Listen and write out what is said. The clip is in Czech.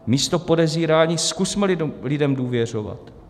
Místo podezírání zkusme lidem důvěřovat.